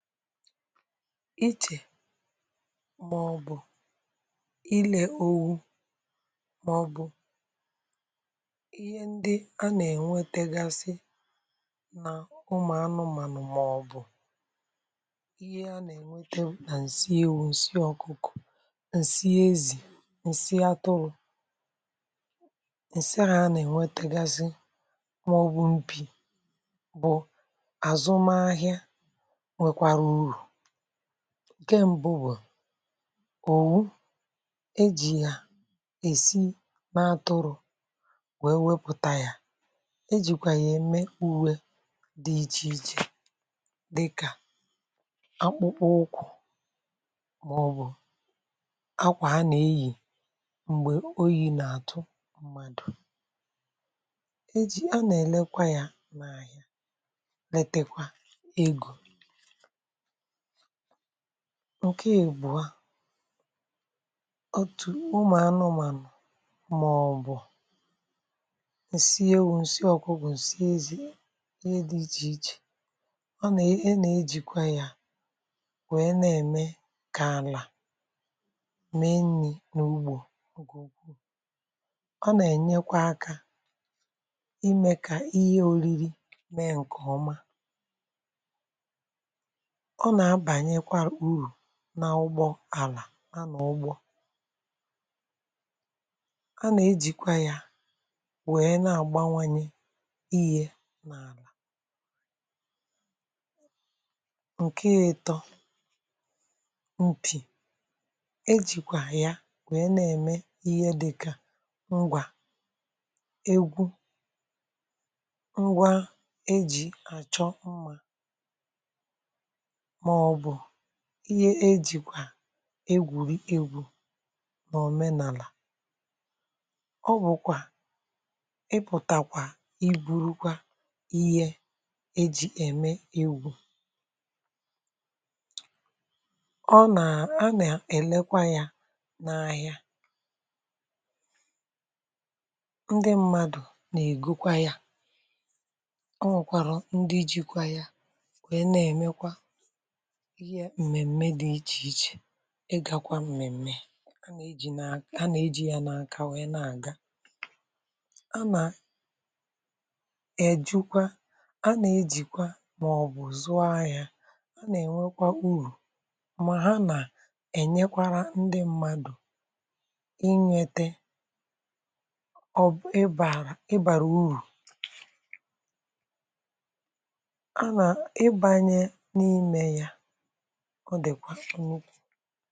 Ichè maọ̀bụ̀ ilè owu maọ̀bụ̀ ihé ndị a nà-ènwetegasị nà ụmụ̀ anụmànụ̀ maọ̀bụ̀ ihé a nà-ènwete nà ǹsị ewu, ǹsị ọ̀kụkọ̀, ǹsị ezì, ǹsị atụrụ̀ ǹsị a anà-ènwetegasị maọ̀bụ̀ mpi bụ̀ àzụ m ahịa nwekwara uru. Nkè mbụ wu, òwu e jì yà è si n’atụrụ̇ wèe wepụ̀ta yȧ, e jìkwà yà eme uwe dị ichè ichè dịkà akpụkpọ ụkwụ̇ màọbụ̀ akwà a nà-eyì m̀gbè oyi̇ nà-àtụ mmadụ. E jì a nà-èlekwa yȧ n’àhịa letekwa egȯ. Nke ịbụọ, otù ụmụ̀ anụmànụ̀ mà ọ̀ bụ̀ ǹsị ewu̇, ǹsị ọ̀kụkụ̀, ǹsị ezi ìhè dị ichè ichè ọ nà e nà-ejìkwa yȧ wèe na-ème kà àlà mee nni̇ n’ugbȯ ọ nà-ènyekwa akȧ imė kà ìhè ȯriri mee ǹkè ọma ọ nà-abànyekwa urù na ụgbọ àlà, a nà-ụgbọ a nà-ejìkwa ya wèe na-àgbanwanye ìhè n’àlà. Nkè ịtọ, mpì ejìkwà ya wèe na-ème ìhè dịka ngwà egwu, ngwa ejì àchọ mmȧ màọ̀bụ̀ ìhè ejìkwà egwùri egwu̇ n’òmenàlà ọ bụ̀kwà ịpụ̀tàkwà i bùru kwa ìhè ejì ème egwu. Ọ nà, a nà-èlekwa yȧ n’ahịa, ndị mmadụ̀ nà-ègo kwa yȧ ọ nwèkwàrà ndị jikwa yȧ wèe na-èmekwa ìhè m̀mèm̀me dị ichè ichè. Ị̀ gakwa m̀mèm̀me a nà-eji ya n’aka wéé na-àga a nà è jukwa a nà-ejìkwa màọ̀bụ̀ zụọ ahịȧ a nà-ènwekwa urù mà ha nà ènyekwara ndị mmadụ̀ ịnwete ọ bụ ị bàrà uru ị bàrà urù a ná ị banye n'ime yá ọ dịkwa nnukwu.